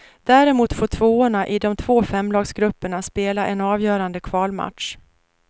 Däremot får tvåorna i de två femlagsgrupperna spela en avgörande kvalmatch.